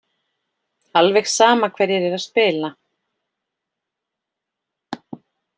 Alveg sama hverjir eru að spila.